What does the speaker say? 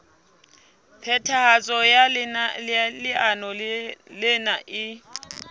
phethahatso ya leano lena e